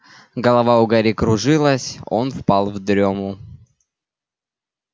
голова у гарри кружилась он впал в дрёму